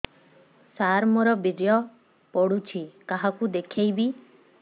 ସାର ମୋର ବୀର୍ଯ୍ୟ ପଢ଼ୁଛି କାହାକୁ ଦେଖେଇବି